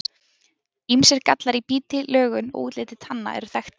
Ýmsir gallar í biti, lögun og útliti tanna eru þekktir.